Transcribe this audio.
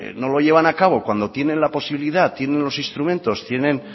no lo llevan a cabo cuando tienen la posibilidad tienen los instrumentos tienen